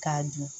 K'a dun